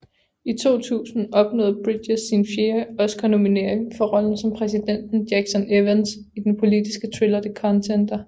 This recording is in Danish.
I 2000 opnåede Bridges sin fjerde Oscarnominering for rollen som præsidenten Jackson Evans i den politiske thriller The Contender